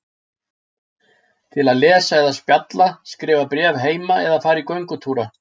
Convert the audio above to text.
Til að lesa eða spjalla, skrifa bréf heim eða fara í göngutúra.